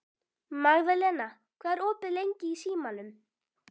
Magðalena, hvað er opið lengi í Símanum?